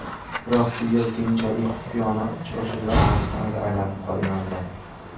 Biroq bu yer keyinchalik xufiyona uchrashuvlar maskaniga aylanib qolgandi.